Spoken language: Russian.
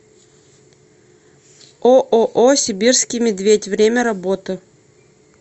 ооо сибирский медведь время работы